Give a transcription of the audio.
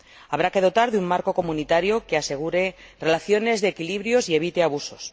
habrá que dotarse de un marco comunitario que asegure relaciones de equilibrios y evite abusos